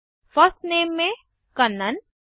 first name में कन्नन